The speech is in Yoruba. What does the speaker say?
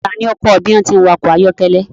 Ta ni ó kọ́ ẹ bí wọ́n ti ń wa ọkọ̀ ayọ́kẹ́lẹ́?